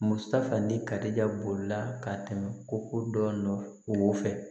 Musa ni karijolila ka tɛmɛ koko dɔn fɛ